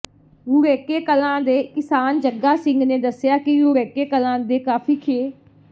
ਰੂੜੇਕੇ ਕਲਾਂ ਦੇ ਕਿਸਾਨ ਜੱਗਾ ਸਿੰਘ ਨੇ ਦੱਸਿਆ ਕਿ ਰੂੜੇਕੇ ਕਲਾਂ ਦੇ ਕਾਫ਼ੀ ਖੇ